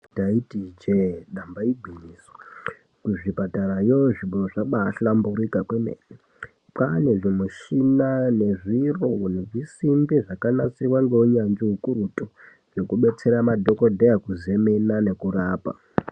Ndaiti ijee damba igwinyiso muzvipatarayo zvinhu zvabahlamburika kwemene, kwane zvimishina nezviro nezvisimbi zvakanasiwa ngehunyanzvi hwekuretu hwekubetsera madhokodheya kuzemena nekurapa.